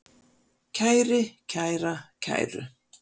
kæri, kæra, kæru